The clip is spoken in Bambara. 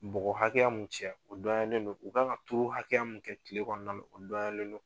Bɔgɔ hakɛya min cɛla o dɔnyalen don, u kan ka turu hakɛya mun kɛ kile kɔnɔ na o dɔnyalen don.